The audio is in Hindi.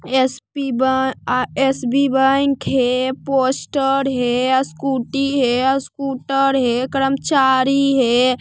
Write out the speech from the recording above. एस_पी बा आ एस_बी बैंक है पोस्टर है आ स्कूटी है स्कूटर है कर्मचारी हे।